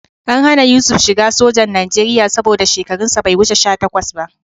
An hana Yusuf shiga sojan Najeriya saboda shekarunsa bai wuce sha takwas ba